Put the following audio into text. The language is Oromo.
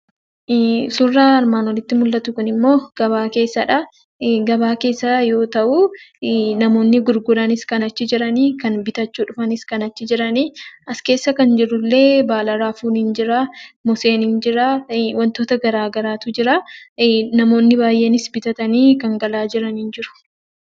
Suuraa armaan oliitti mul'atu kunimmoo gabaa keessadha. Gabaa keessa yoo ta'u, namoonni gurguranis kan achi jiranii; kan bitachuu dhufanis kan achi jirani. As keessa kan jirullee baala raafuun ni jira; muuziin ni jira; wantoota garaa garaatu jira. Namoonni baay'eenis bitatanii kan galaa jirani ni jiru.